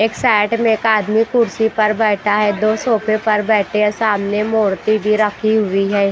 एक साइड में एक आदमी कुर्सी पर बैठा है दो सोफे पर बैठे है सामने मूर्ति भी रखी हुई है।